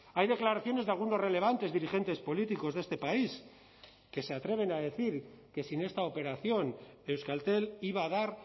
hay declaraciones de algunos relevantes dirigentes políticos de este país que se atreven a decir que sin esta operación euskaltel iba a dar